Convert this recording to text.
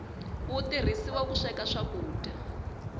wu turhisiwa ku sweka swakudya